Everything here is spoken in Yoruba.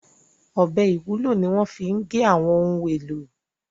ọbẹ IwUlO ní wón fí gé àwọn ohùn èlò